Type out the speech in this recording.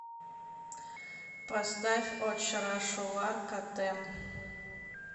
поставь очрашулар котэм